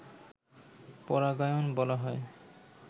পরাগায়ন বলা হয়